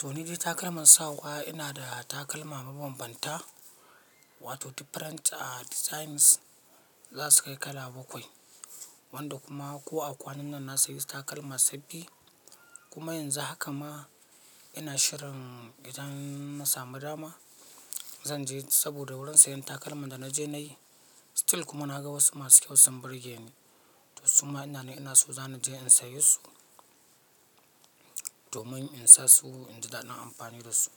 To, ni dai takalman sawa ina da takalma mabambanta, wato different, uh, designs za su kai kala bakwai. Wanda kuma ko a kwanannan na sayi takalma sabbi. Kuma yanzu haka ma ina shirin idan mu samu dama zan je saboda wurin sayan takalman da na je na yi. Still kuma na ga wasu masu kyau sun burge ni. To su ma ina ne ina so zan ni je in sayi su domin in sa su in ji daɗin amfani da su.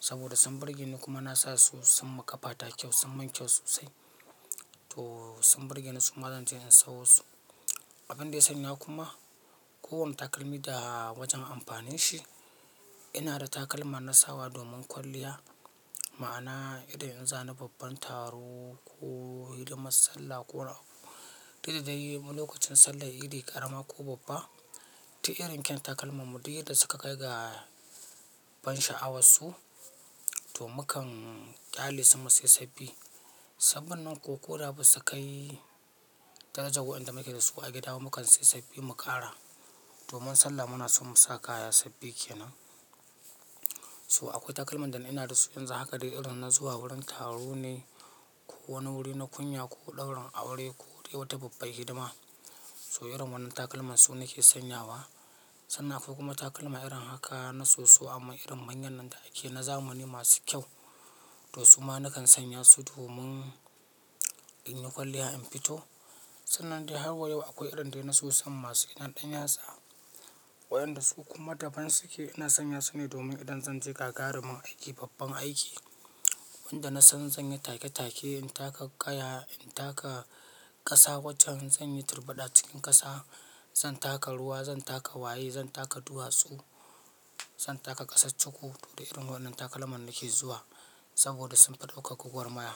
Saboda sun burge ni kuma na sa su sun makafata kyau, sun min kyau sosai. To sun burge ni suma zan je in siyo su. Abin da ya sanya kuma kowanne takalmi da wajen amfanin shi. Ina da takalma na sa wa domin kwalliya, ma'ana idan in za ni babban taro ko hidimar sallah ko, uh, dadda dai lokacin sallar idi ƙarama ko babba. Duk irin kyan takalma mu ɗuk yadda suka kai ga ban sha'awar su to mukan ƙyale su mu sai sabbi. Sabbin nan ko ko da ba su kai darajar wayanda muke da su a gida mukan sai sabbi mu ƙara. Domin sallah muna son mu sa kaya sabbi kenan. To akwai takalman da ni ina da su yanzu haka dai irin na zuwa wurin taro ne ko wani wuri na kunya ko ɗaurin aure ko dai wata babbar hidima. To irin wannan takalma su nake sanya wa. Sannan akwai kuma takalma irin haka na soso amma irin manyan nan da ake na zamani masu kyau. To su ma na kan sanya su domin in yi kwalliya in fito. Sannan dai har wa yau akwai irin dai na so san masu gidan ɗanyatsa. Wa'yanda su kuma da ban su ke ina sanya su ne domin idan zan je gagarumin aiki, babban aiki. Wanda na san zan yi take take, in taka kaya, in taka ƙasa waccen, zan yi turbada cikin ƙasa, zan taka ruwa, zan taka waye, zan taka duwatsu, zan taka ƙasar cuku to da irin wannan takalman nake zuwa. Saboda sun fi ɗauka gwagwalmaya.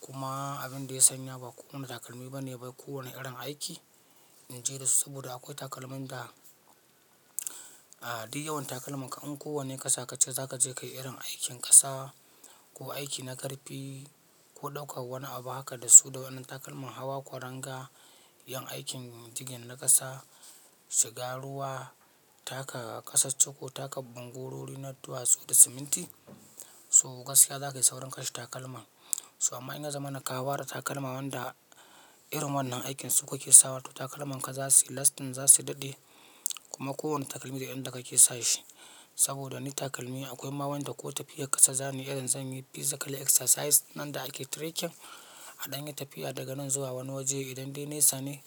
Kuma abin da ya sanya ba kowane takalmi ba ne bai kowane irin aiki in je da su saboda akwai takalmin da, uh, duk yawan takalman ka in kowane ƙasa ka ce za ka je ka yi irin aikin ƙasa ko aiki na ƙarfi ko ɗauka wani abu haka da su da wannan takalmin hawa kuranga, yin aikin digging na ƙasa, shiga ruwa, taka ƙasarcuku taka bangorori na duwatsu da siminti. To gaskiya za ka yi saurin kashe takalman. To amma in ya zamana kawa da takalma wanda irin wannan aikinsu kuke sa wa to takalmanka za su yi lasting, za su daɗe. Kuma kowane takalmi da inda kake sa shi. Saboda ni takalmi akwai ma wanda ko tafiyar ƙasa zamu yi irin zan yi physical exercise nan da ake trekking a ɗan yi tafiya daga nan zuwa wani waje idan dai naisa ne.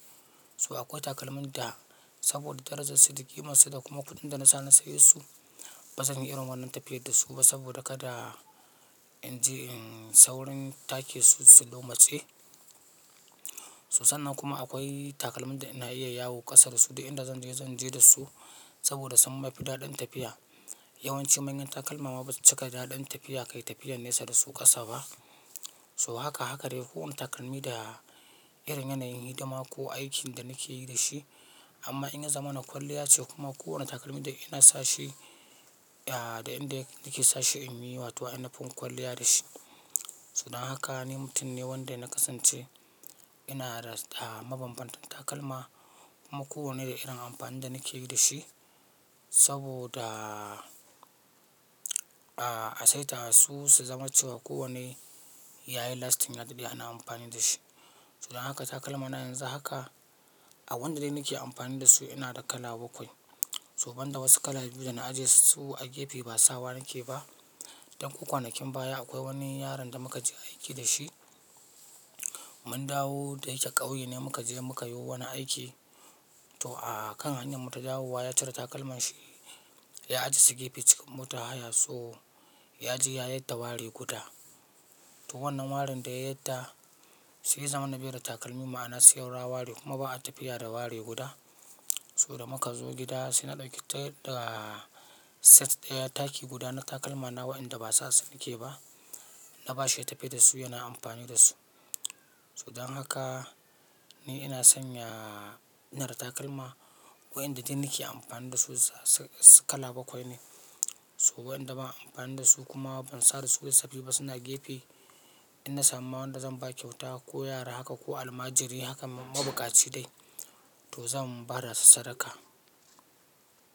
To akwai takalmin da saboda darajar su da ƙimansu da kuma kuɗin da na sa na saye su ba zan yi irin wannan tafiyar da su ba saboda kada in je in saurin take su, su lomatse. So sannan kuma akwai takalmin da ina iya yawo ƙasa da su duk inda zan je zan je da su saboda sun mafi daɗin tafiya. Yawanci manyan takalma ma ba su cika daɗin tafiya ka yi tafiyan nesa da su ƙasa ba. To haka haka dai kowane takalmi da irin yanayin hidima ko aikin da nake yi da shi. Amma in ya zamana kwalliya ce kuma kowane takalmi da ina sa shi, uh, da inda nake sa shi in yi wato anafin kwalliya da shi. To dan haka ni mutum ne wanda na kasance ina da mabambantan takalma kuma kowanne da irin amfanin da nake yi da shi. Saboda, uh, a saita su su zama cewa kowanne ya yi lasting, ya daɗe ana amfani da shi. To dan haka takalmana yanzu haka a wanda dai nake amfani da su ina da kala bakwai. So ban da wasu kala biyu da na ajiye su a gefe ba sawa nake ba. Ɗan ko kwanakin baya akwai wani yaron da muka je aiki da shi. Mun dawo da yake ƙauye ne muka je muka yi wani aiki. To a kan hanyar mu ta dawowa ya cire takalmanshi ya ajiye su gefe cikin motar haya tso ya je ya yadda wari guda. To wannan warin da ya yadda shi ya zamana bai da takalmi ma'ana saura wari kuma ba a tafiya da wari guda. To da muka zo gida sai na ɗauki ta da set ɗaya taki guda na takalmana wayanda ba sa su ni ke ba. Na ba shi ya tafi da su yana amfani da su. To idan haka ni ina sanya ina da takalma wa'yanda dai nake amfani da su kala bakwai ne. To wa'yanda ba a amfani da su kuma ban sare su yi sabbi ba suna gefe. In na samu ma wanda zan ba kyauta ko yara haka ko almajiri haka mabukaci dai to zan ba da su sadaka.